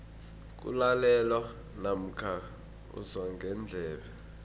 kulalelwa namkha uzwa ngendlebe